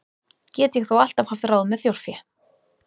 Get ég þó alltaf haft ráð með þjórfé.